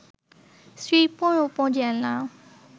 শ্রীপুর উপজেলা